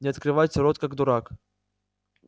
не открывайте рот как дурак